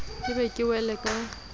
ke be ke wele ka